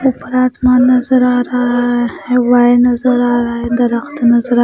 ऊपर आसमान नजर आ रहा है वाय नजर आ रहा है दरख्त नजर आ --